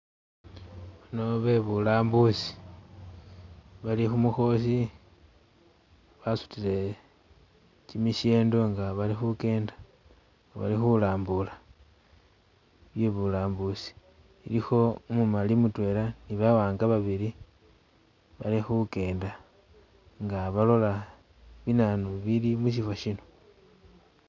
Bano bebulambusi nga bali khumukhosi basutile kimishendo nga balikhukenda balikhulambula bye'bulambusi ilikho umumali mutwela ni bawanga babili balikhukenda nga balola binanu bili musifo siino